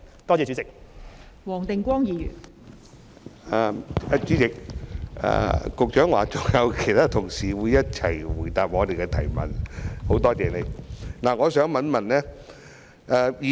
代理主席，局長說會與他的同事一起回答議員的補充質詢，我表示感謝。